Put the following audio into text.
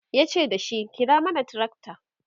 yace dashi"kira mana tracta!"